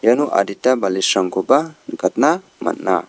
iano adita balisrangkoba nikatna man·a.